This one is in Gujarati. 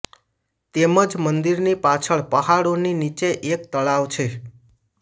તેમજ મંદિરની પાછળ પહાડોની નીચે એક તળાવ છે